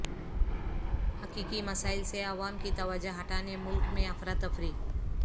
حقیقی مسائل سے عوام کی توجہ ہٹانے ملک میں افراتفری